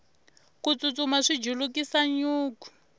ku tsutsuma swi julukisa nyuku